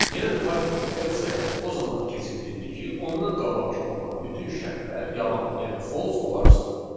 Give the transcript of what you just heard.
Yəni Python else-ə o zaman keçid edir ki, ondan qabaqkı olan bütün şərtlər yalan, yəni false olarsa.